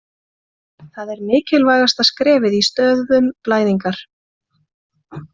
Þetta er mikilvægasta skrefið í stöðvun blæðingar.